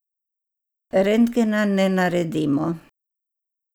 Rentgena ne naredimo.